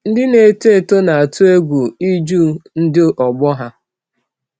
Ndị na-eto eto na-atụ egwu ịjụ ndị ọgbọ ha.